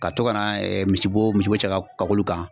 Ka to ka na misibo misibo cɛ ka k'olu kan